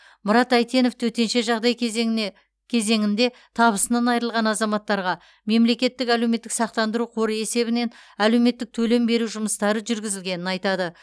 мұрат әйтенов төтенше жағдай кезеніңде табысынан айырылған азаматтарға мемлекеттік әлеуметтік сақтандыру қоры есебінен әлеуметтік төлем беру жұмыстары жүргізілгенін айтады